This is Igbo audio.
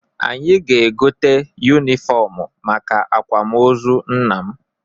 Anyị ga-egote yunifọmụ maka akwamozu nna m.